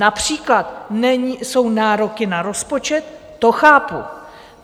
Například jsou nároky na rozpočet, to chápu.